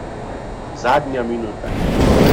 Zadnja minuta.